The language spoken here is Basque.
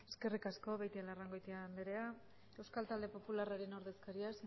eskerrik asko beitialarrangoitia anderea euskal talde popularraren ordezkaria